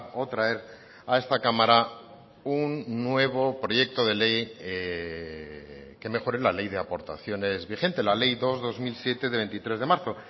o traer a esta cámara un nuevo proyecto de ley que mejore la ley de aportaciones vigente la ley dos barra dos mil siete de veintitrés de marzo